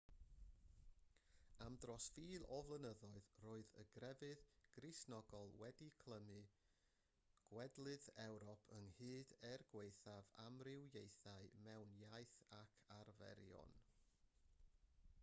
am dros fil o flynyddoedd roedd y grefydd gristnogol wedi clymu gwledydd ewrop ynghyd er gwaethaf amrywiaethau mewn iaith ac arferion